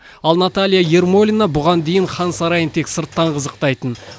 ал наталья ермолина бұған дейін хан сарайын тек сырттан қызықтайтын